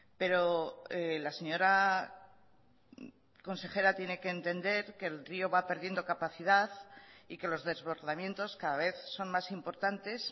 pero la señora consejera tiene que entender que el rió va perdiendo capacidad y que los desbordamientos cada vez son más importantes